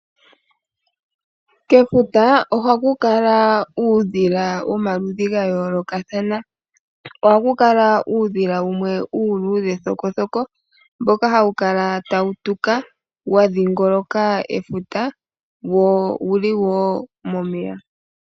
Kefuta ohaku kala uudhila womaludhi gayolokathana. Oha ku kala uudhila wumwe uuludhe thokokoko. Mboka hawu kala tawu tuka wa dhingoloka efuta, wo owuli wo momeya.